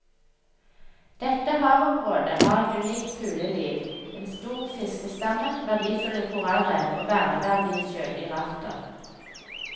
Dette havområdet har et unikt fugleliv, en stor fiskestamme, verdifulle korallrev og verneverdige sjødyrarter.